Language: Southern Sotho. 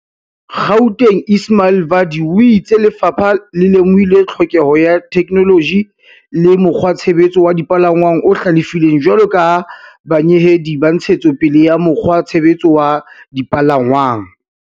Gaut eng Ismail Vadi o itse lefapha le lemohile tlhokeho ya theke -noloji le mokgwatshebetso wa dipalangwang o hlalefileng jwalo ka banyeheli ba ntshetso pele ya mokgwatshebetso wa dipalangwang.